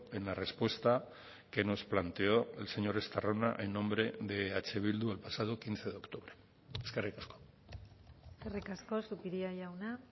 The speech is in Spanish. en la respuesta que nos planteó el señor estarrona en nombre de eh bildu el pasado quince de octubre eskerrik asko eskerrik asko zupiria jauna